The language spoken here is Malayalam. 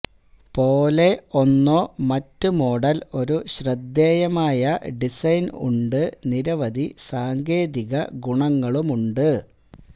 പോലെ ഒന്നോ മറ്റ് മോഡൽ ഒരു ശ്രദ്ധേയമായ ഡിസൈൻ ഉണ്ട് നിരവധി സാങ്കേതിക ഗുണങ്ങളുമുണ്ട്